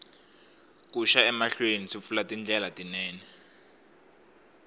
ku xa emahlweni swi pfula tindlela tinene